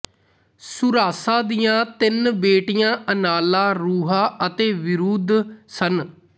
ਸੂਰਾਸਾ ਦੀਆਂ ਤਿੰਨ ਬੇਟੀਆਂ ਅਨਾਲਾ ਰੁਹਾ ਅਤੇ ਵਿਰੂਧ ਸਨ